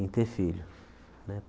em ter filho. Né